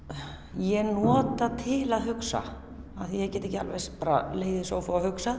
ég nota til að hugsa af því að ég get ekki alveg bara legið í sófa og hugsað